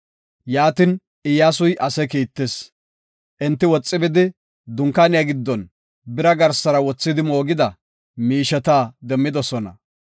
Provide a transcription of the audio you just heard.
Yaatin, Iyyasuy ase kiittis. Enti woxi bidi dunkaaniya giddon bira garsara wothidi moogida miisheta demmidosona.